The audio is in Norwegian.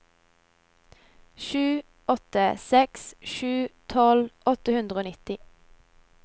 sju åtte seks sju tolv åtte hundre og nitti